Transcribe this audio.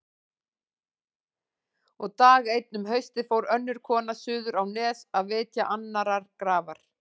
Og dag einn um haustið fór önnur kona suður á Nes að vitja annarrar grafar.